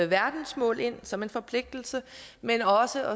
verdensmål ind som en forpligtelse men også